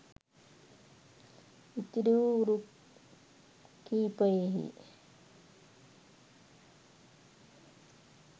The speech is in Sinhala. ඉතිරි වූ රුක් කිහිපයෙහි